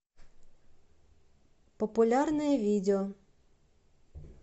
популярное видео